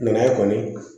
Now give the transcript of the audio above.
kɔni